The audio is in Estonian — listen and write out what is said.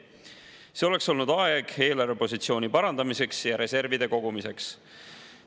See oleks olnud aeg eelarvepositsiooni parandamiseks ja reservide kogumiseks.